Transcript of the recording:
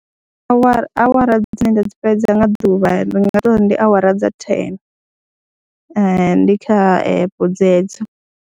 Awara awara dzine nda dzi fhedza nga ḓuvha ndi nga tou ri ndi awara dza thene ndi kha epe dzedzo.